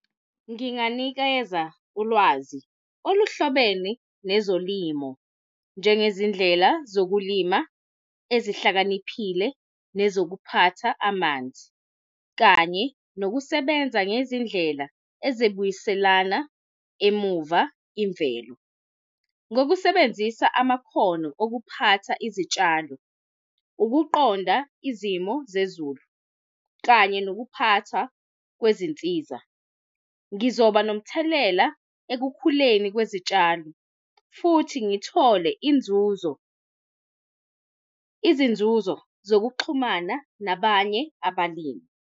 Nginganikeza ulwazi oluhlobene nezolimo, njengezindlela zokulima ezihlakaniphile, nezokuphatha amanzi, kanye nokusebenza ngezindlela ezibuyiselana emuva imvelo. Ngokusebenzisa amakhono okuphatha izitshalo, ukuqonda izimo zezulu, kanye nokuphatha kwezinsiza, ngizoba nomthelela ekukhuleni kwezitshalo, futhi ngithole inzuzo, izinzuzo zokuxhumana nabanye abalimi.